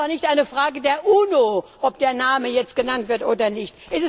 Es ist auch nicht eine Frage der UNO, ob der Name jetzt genannt wird oder nicht.